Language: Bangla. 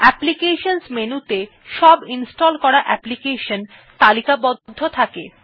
অ্যাপ্লিকেশন মেনুতে সব ইনস্টল করা অ্যাপ্লিকেশন তালিকাবদ্ধ থাকে